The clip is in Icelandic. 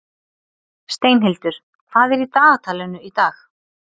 Steinhildur, hvað er í dagatalinu í dag?